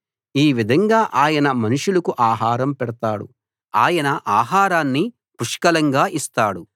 ఈ విధంగా ఆయన మనుషులకు ఆహారం పెడతాడు ఆయన ఆహారాన్ని పుష్కలంగా ఇస్తాడు